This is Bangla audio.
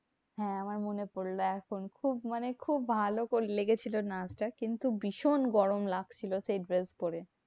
হ্যাঁ আমার মনে পড়লো এখন। খুব মানে খুব লেগেছিলো নাচটা। কিন্তু ভীষণ গরম লাগছিলো সেই dress পরে।